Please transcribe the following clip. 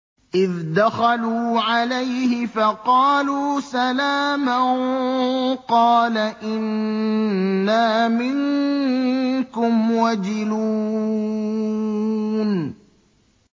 إِذْ دَخَلُوا عَلَيْهِ فَقَالُوا سَلَامًا قَالَ إِنَّا مِنكُمْ وَجِلُونَ